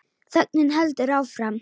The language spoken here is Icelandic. Þögnin heldur áfram.